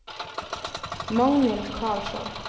Magnhild Karlsson